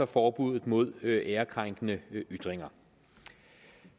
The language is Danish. forbuddet mod æreskrænkende ytringer